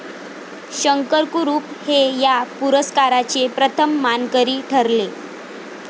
शंकर कुरुप हे या पुरस्काराचे प्रथम मानकरी ठरले.